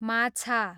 माछा